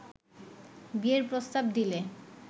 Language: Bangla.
বিয়ের প্রস্তাব দিলে